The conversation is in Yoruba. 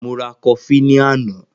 Mo ra kofí ní àná.